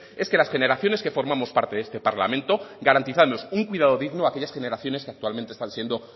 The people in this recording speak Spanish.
es que las generaciones que formamos parte de este parlamento garantizarnos un cuidado digno a aquellas generaciones que actualmente están siendo